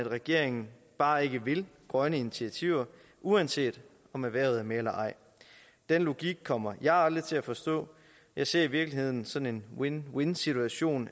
regeringen bare ikke vil grønne initiativer uanset om erhvervet er med eller ej den logik kommer jeg aldrig til at forstå jeg ser i virkeligheden sådan en win win situation